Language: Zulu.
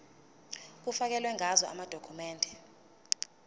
kufakelwe ngazo amadokhumende